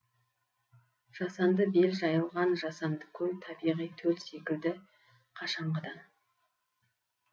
жасанды бел жайылған жасанды көл табиғи төл секілді қашанғыдан